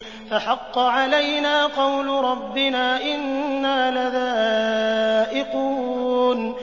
فَحَقَّ عَلَيْنَا قَوْلُ رَبِّنَا ۖ إِنَّا لَذَائِقُونَ